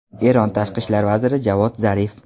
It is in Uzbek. Eron tashqi ishlar vaziri Javod Zarif.